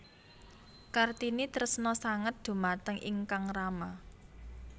Kartini tresna sanget dhumateng ingkang rama